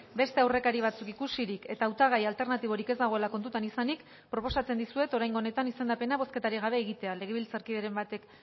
beste aurrekari batzuk ikusirik eta hautagai alternatiborik ez dagoela kontutan izanik proposatzen dizuet oraingo honetan izendapena bozketarik gabe egitea legebiltzarkideren batek